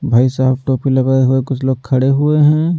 भाई साहब टोपी लगाए हुए कुछ लोग खड़े हुए हैं।